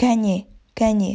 кәне кәне